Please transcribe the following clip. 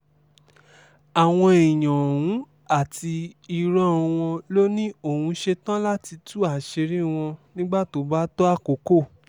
àwọn èèyàn ọ̀hún àti irọ́ wọn ló ní òun ṣetán láti tú àṣírí wọn nígbà tó bá tó àkókò